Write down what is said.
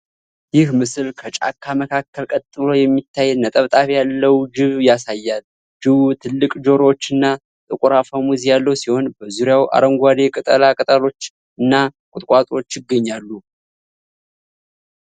ይህ ምስል ከጫካ መካከል ቀጥ ብሎ የሚታይ ነጠብጣብ ያለው ጅብ ያሳያል። ጅቡ ትልቅ ጆሮዎችና ጥቁር አፈሙዝ ያለው ሲሆን፣ በዙሪያው አረንጓዴ ቅጠላ ቅጠሎች እና ቁጥቋጦዎች ይገኛሉ።